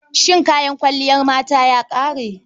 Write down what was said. Shin kayan kwalliyar mata ya ƙare?